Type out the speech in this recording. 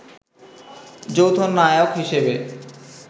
যৌথ নায়ক হিসেবে